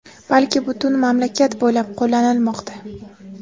balki butun mamlakat bo‘ylab qo‘llanilmoqda.